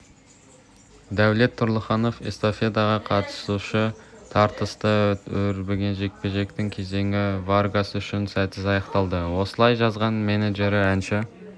дәулет тұрлыханов эстафетаға қатысушы тартысты өрбіген жекпе-жектің кезеңі варгас үшін сәтсіз аяқталды осылай жазған менеджері әнші